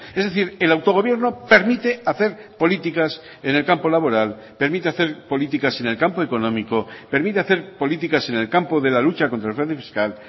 es decir el autogobierno permite hacer políticas en el campo laboral permite hacer políticas en el campo económico permite hacer políticas en el campo de la lucha contra el fraude fiscal